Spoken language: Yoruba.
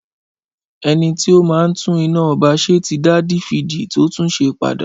Ẹnití ó máa ń tún iná ọba ṣe ti dà difidi tó túnsẹ pàdá